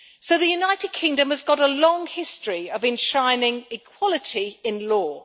The United Kingdom has got a long history of enshrining equality in law.